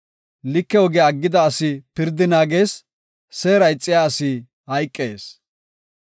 Like ogiya aggida asi pirdi naagees; seera ixiya asi hayqees.